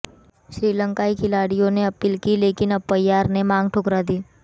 श्रीलंकाई खिलाड़ियों ने अपील की लेकिन अंपायर ने मांग ठुकरा दी